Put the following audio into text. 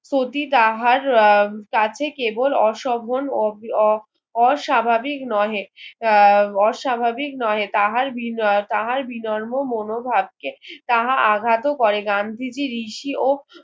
ক্ষতি তাহার কাছে কেবল অশোভন অস্বাভাবিক নহে আহ অস্বাভাবিক নহে তাহার বিনর্ম মনোভাবকে তাহা আঘাত করে গান্ধীজি ঋষি ও